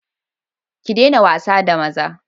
Ki daina wasa da maza!